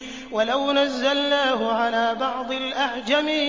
وَلَوْ نَزَّلْنَاهُ عَلَىٰ بَعْضِ الْأَعْجَمِينَ